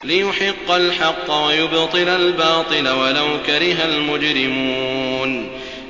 لِيُحِقَّ الْحَقَّ وَيُبْطِلَ الْبَاطِلَ وَلَوْ كَرِهَ الْمُجْرِمُونَ